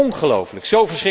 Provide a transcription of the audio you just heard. Ongelofelijk!